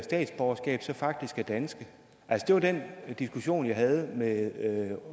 statsborgerskab faktisk er danske det var den diskussion jeg havde med